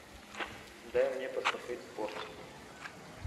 дай мне посмотреть спорт